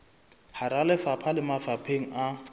hara lefapha le mafapheng a